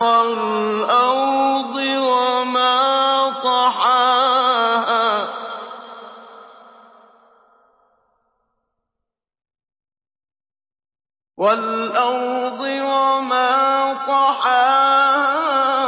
وَالْأَرْضِ وَمَا طَحَاهَا